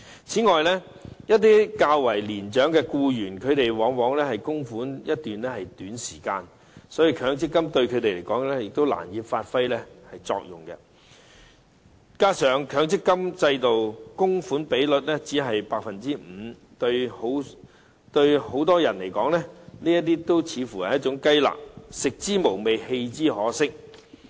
此外，一些較年長的僱員往往只供款一段較短時期，所以強積金對他們來說，難以發揮作用，加上強積金的強制供款比率只是 5%， 對很多人來說，這似乎是雞肋，食之無味，棄之可惜。